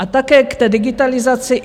A také k té digitalizaci.